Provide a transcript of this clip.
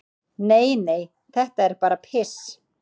"""Nei, nei, þetta er bara piss."""